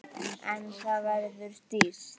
En það verður dýrt.